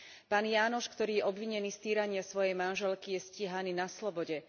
Pán Jánoš, ktorý je obvinený z týrania svojej manželky, je stíhaný na slobode.